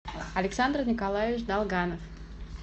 александр николаевич долганов